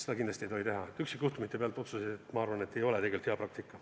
Nii et kindlasti ei tohi otsuseid teha üksikjuhtumite koha pealt, ma arvan, et see ei ole tegelikult hea praktika.